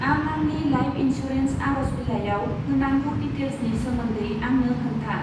आं आंनि life insurance आरज बिलाइयाव होनांगौ दिटेल्सनि सोमोन्दै आंनो खोन्था।